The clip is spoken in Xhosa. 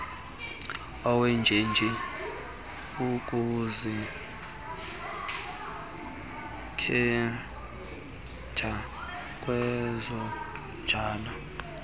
wenjenje ukuzikhetheja kwezokhojo